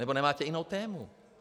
Nebo nemáte jiné téma?